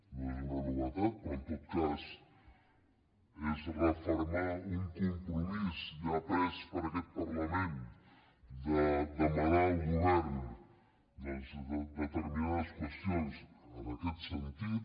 no és una novetat però en tot cas és refermar un compromís ja pres per aquest parlament de demanar al govern doncs determinades qüestions en aquest sentit